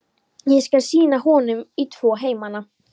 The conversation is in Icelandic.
Ég skal sýna honum í tvo heimana.